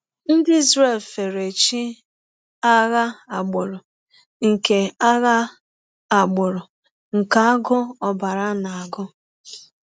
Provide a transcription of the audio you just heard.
Ndị Izrel fere ‘chi agha agbụrụ’ nke agha agbụrụ’ nke agụụ ọbara na-agụ.